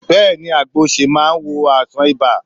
Bẹ́ẹ̀ni àgbo osè máa wo àìsàn ibà